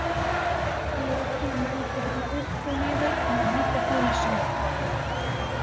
Loki mældi hana upp og niður með vanþóknunarsvip.